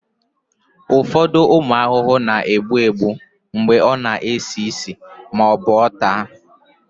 ụfọdụ ụmụ ahụhụ na-egbu egbu mgbe ọ na-esi ísì ma ọ bụ taa